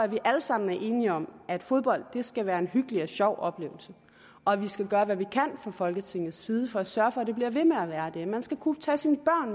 vi alle sammen er enige om at fodbold skal være en hyggelig og sjov oplevelse og at vi skal gøre hvad vi kan fra folketingets side for at sørge for at det bliver ved med at være det man skal kunne tage sine